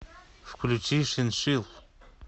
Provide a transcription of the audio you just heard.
включи шиншилл